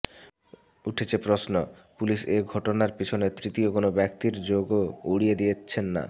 উঠছে প্রশ্ন পুলিশ এই ঘটনার পিছনে তৃতীয় কোনও ব্যক্তির যোগও উড়িয়ে দিচ্ছেন না